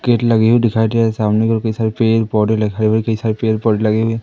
gate लगी हुई दिखाई दे रहीं सामने घर के सारे पेड़ पौधे लगे हुए घर के सारे पेड़ पौधे लगे हुए --